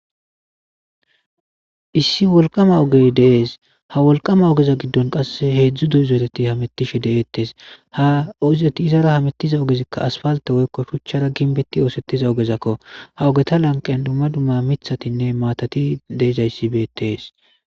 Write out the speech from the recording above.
Issi wolqama ogey dees ha wolqama ogeza giddon qasse heedzdzu duyzeereti hamettishe deeettes ha ozeti izara hamettiza ogezikka asfalte woykko shuchchara ginbetti oosettiza ogezakko ha ogeta lanqen dumma dumma mithatinne maatati deezayssi beetees.